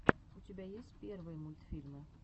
у тебя есть первые мультфильмы